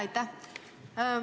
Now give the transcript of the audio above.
Aitäh!